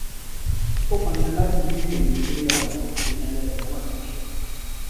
ó pọn dandan láti ní òye pé àwọn olùgbé niger delta wà nínú ìṣòro